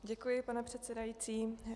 Děkuji, pane předsedající.